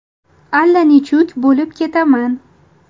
Allanechuk bo‘lib ketaman.